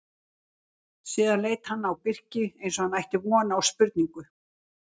Síðan leit hann á Birki eins og hann ætti von á spurningu.